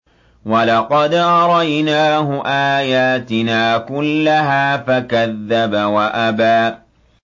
وَلَقَدْ أَرَيْنَاهُ آيَاتِنَا كُلَّهَا فَكَذَّبَ وَأَبَىٰ